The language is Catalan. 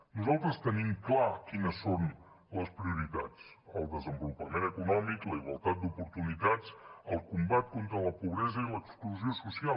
nosaltres tenim clar quines són les prioritats el desenvolupament econòmic la igualtat d’oportunitats el combat contra la pobresa i l’exclusió social